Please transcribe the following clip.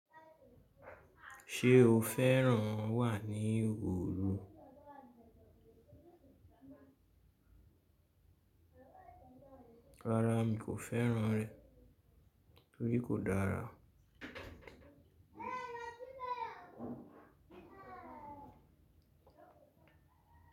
Ṣé o fẹ́ràn wà ní Oru? Rárá mi kò fẹ́ràn rẹ̀, torí kò dára.